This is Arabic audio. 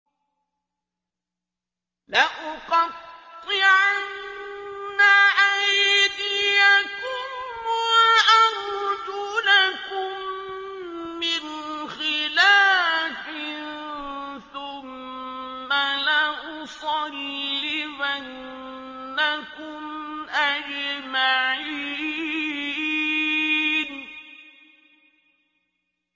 لَأُقَطِّعَنَّ أَيْدِيَكُمْ وَأَرْجُلَكُم مِّنْ خِلَافٍ ثُمَّ لَأُصَلِّبَنَّكُمْ أَجْمَعِينَ